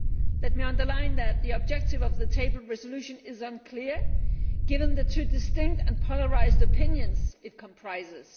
Let me underline that the objective of the tabled resolution is unclear, given the two distinct and polarised opinions it comprises.